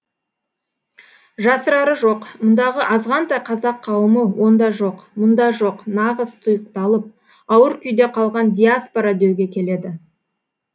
жасырары жоқ мұндағы азғантай қазақ қауымы онда жоқ мұнда жоқ нағыз тұйықталып ауыр күйде қалған диаспора деуге келеді